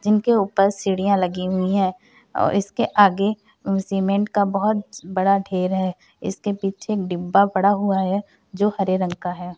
जिनके उपर सीढ़ियाँ लगी हुई हैं और इसके आगे सीमेन्ट का बहुत बड़ा ढ़ेर है इसके पीछे डिब्बा पड़ा हुआ है जो हरे रंग का है।